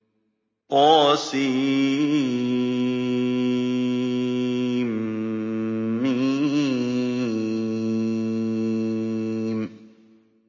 طسم